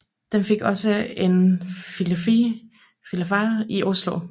Den fik også en filial i Oslo